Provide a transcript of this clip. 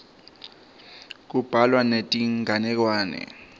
kubhalwa netinganekwane